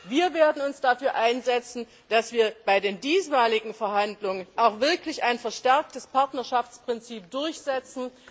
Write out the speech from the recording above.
Wir werden uns dafür einsetzen, dass wir bei den diesmaligen Verhandlungen auch wirklich ein verstärktes Partnerschaftsprinzip durchsetzen.